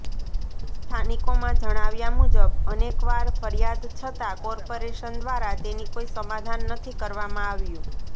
સ્થાનિકોના જણાવ્યા મુજબ અનેકવાર ફરિયાદ છતા કોર્પોરેશન દ્વારા તેની કોઈ સમાધાન નથી કરવામાં આવ્યું